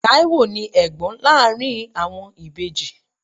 Taiwo ni Ẹ̀gbọ́n láàárín àwọn ìbejì.